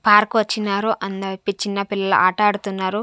Park వచ్చినారు అందర-- చిన్న పిల్లలు ఆట ఆడుతున్నారు.